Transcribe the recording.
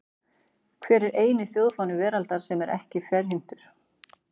Hver er eini þjóðfáni veraldar sem er ekki ferhyrndur?